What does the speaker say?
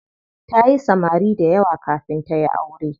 Tayi samari dayawa kafin tayi aure.